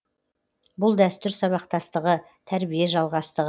бұл дәстүр сабақтастығы тәрбие жалғастығы